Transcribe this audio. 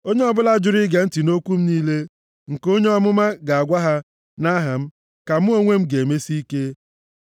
Onye ọbụla jụrụ ige ntị nʼokwu m niile nke onye amụma ga-agwa ha nʼaha m ka mụ onwe m ga-emesi ike.